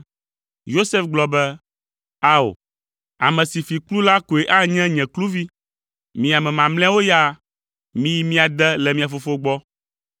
Yosef gblɔ be, “Ao, ame si fi kplu la koe anye nye kluvi. Mi ame mamlɛawo ya, miyi mia de le mia fofo gbɔ.”